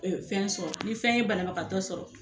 fɛn sɔrɔ ni fɛn ye bana bagatɔ sɔrɔ